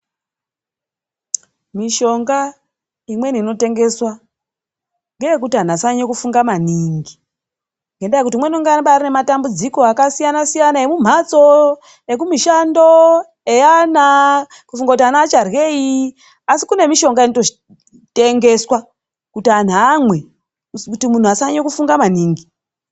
Mishonga imweni inotengeswa, ngeyekuti vantu vasanyanyofunga manhingi. Ngendaa yekuti umweni unge ambari anematambudziko akasiyana siyana emumhatso, ekumishando, eana. Kufunga kuti ana acharyei. Asi kune mishonga inototengeswa kuti antu amwe, kuti muntu asanyanye kufunga maningi.